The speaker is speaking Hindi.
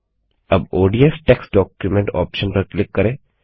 अब ओडीएफ टेक्स्ट डॉक्यूमेंट ऑप्शन पर क्लिक करें